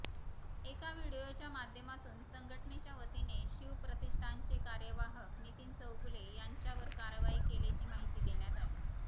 एका व्हिडीओच्या माध्यामातून संघटनेच्या वतीने शिवप्रतिष्ठानचे कार्यवाहक नितीन चौगुले यांच्यावर कारवाई केल्याची माहिती देण्यात आली